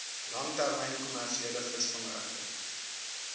langtermyn kommersiële visvangregte